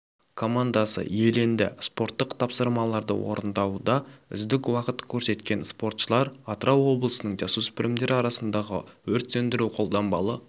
командасы иеленді спорттық тапсырмаларды орындауда үздік уақыт көрсеткен спортшылар атырау облысының жасөспірімдер арасындағы өрт сөндіру-қолданбалы